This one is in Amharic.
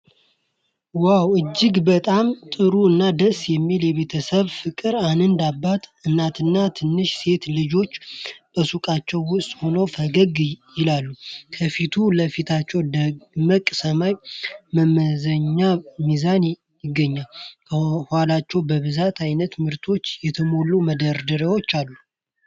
ዋው! እጅግ በጣም ጥሩ እና ደስ የሚል የቤተሰብ ፍቅር! አንድ አባት፣ እናትና ትንሽ ሴት ልጃቸው በሱቃቸው ውስጥ ሆነው ፈገግ ይላሉ። ከፊት ለፊታቸው ደማቅ ሰማያዊ መመዘኛ ሚዛን ይገኛል። ከኋላቸው በብዙ አይነት ምርቶች የተሞሉ መደርደሪያዎች አሉ።